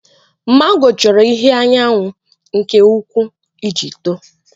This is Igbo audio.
Màngò chọrọ ìhè anyanwụ nke ukwuu iji tòò